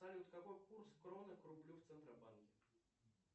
салют какой курс кроны к рублю в центробанке